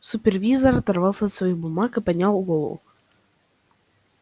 супервизор оторвался от своих бумаг и поднял голову